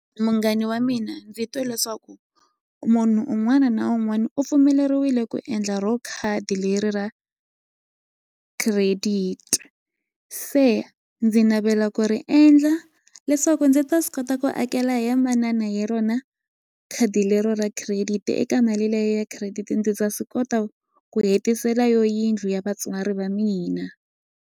Munghani wa mina ndzi twe leswaku munhu un'wana na un'wana u pfumeleriwile ku endla ro khadi leri ra credit se ndzi navela ku ri endla leswaku ndzi ta swi kota ku akela ye manana hi rona khadi lero ra credit eka mali leyi ya credit ndzi ta swi kota ku hetisela yo yindlu ya vatswari va mina.